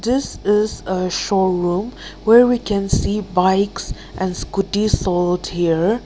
this is a showroom where we can see bikes and scooties over here.